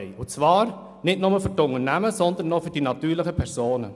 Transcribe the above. Dies nicht nur bei den Unternehmen, sondern auch bei den natürlichen Personen.